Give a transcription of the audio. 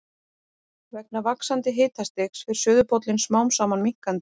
Vegna vaxandi hitastigs fer suðurpóllinn smám saman minnkandi.